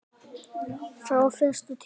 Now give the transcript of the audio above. Frá fyrstu tíð.